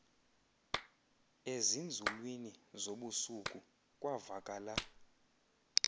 ezinzulwini zobusuku kwavakala